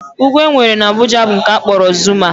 Ugwu e nwere n'Abuja bụ nke a kpọrọ Zuma